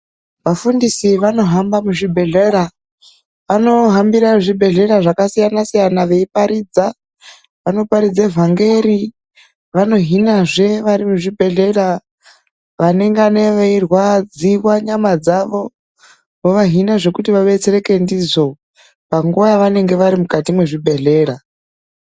Vafundisi vanohamba muzvibhedhlera. Vanohambira zvibhedhlera zvakasiyana siyana veiparidza. Vanoparidze vhangeri, vanohinazve vari muzvibhedhlera vanenge vachirwadziwa nenyama dzavo vovahina zvekuti vabetsereke ndizvo panguva yavanenge vari mukati mezvibhedhlera.